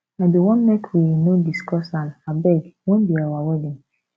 i bin wan make we no discuss am abeg wen be our wedding